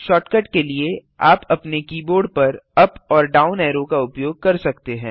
shortcut के लिए आप अपने कीबोर्ड पर अप और डाउन ऐरो का उपयोग कर सकते हैं